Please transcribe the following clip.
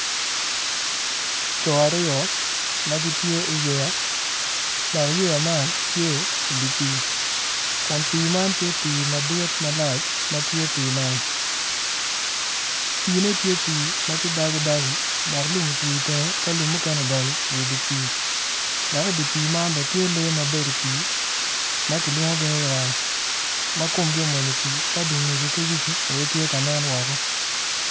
Co aryo ma gitye i yeya dok yeya man tye i dye pii kun pii man tye pii madit i dye nam piine tye pii ma tye dagodago dok lum mukene otwi i tenge dok mukene odonyo ma i dye pii dok i dye pii man tye lee ma bedo i pii ma kilwongogi ni raa ma komgi owony i pii ki wigi ki dye ngegi aye tye ka nen woko.